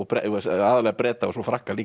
aðallega Breta og svo Frakka líka